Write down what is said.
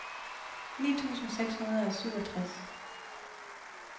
ni tusind seks hundrede og syvogtres